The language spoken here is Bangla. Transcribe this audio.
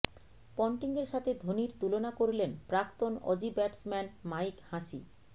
পন্টিংয়ের সাথে ধোনির তুলনা করলেন প্রাক্তন অজি ব্যাটসম্যান মাইক হাসি